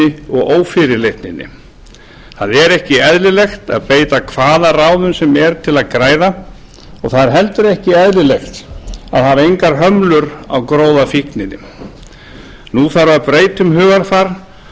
ósvífninni og ófyrirleitninni það er ekki eðlilegt að beita hvaða ráðum sem er til að græða og það er heldur ekki eðlilegt að hafa engar hömlur á gróðafíkninni nú þarf að breyta um hugarfar